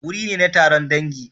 Wuri ne na taron dangi.